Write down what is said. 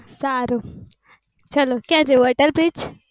સારું ચાલો ક્યાં જવું અટલ bridge